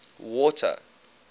water